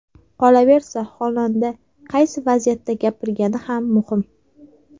Qolaversa, xonanda qaysi vaziyatda gapirgani ham muhim.